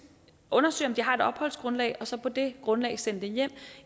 undersøge om de har et opholdsgrundlag og så på det grundlag sende dem hjem